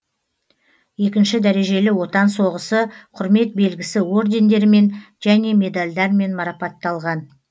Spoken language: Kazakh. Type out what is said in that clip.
екінші дәрежелі отан соғысы құрмет белгісі ордендерімен және медалдармен марапатталған